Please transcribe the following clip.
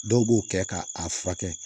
Dɔw b'o kɛ ka a furakɛ